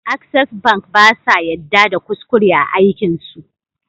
Access bank basa yadda da kuskure a aikin su